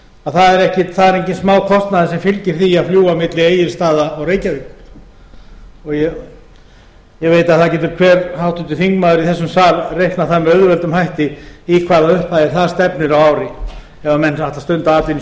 að það er enginn smákostnaður sem fylgir því að fljúga á milli egilsstaða og reykjavíkur ég veit að það getur hver háttvirtur þingmaður í þessum sal reiknað það með auðveldum hætti í hvaða upphæðir það stefnir á ári ef menn ætla að stunda atvinnu